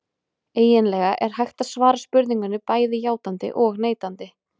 Eiginlega er hægt að svara spurningunni bæði játandi og neitandi.